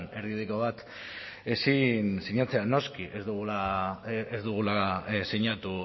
erdibideko bat ezin sinatzea noski ez dugula sinatu